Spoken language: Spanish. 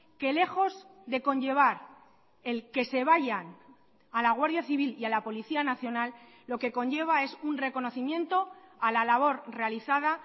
que lejos de conllevar el que se vayan a la guardia civil y a la policía nacional lo que conlleva es un reconocimiento a la labor realizada